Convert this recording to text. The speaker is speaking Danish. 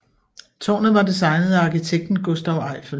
Tårnet var designet af arkitekten Gustave Eiffel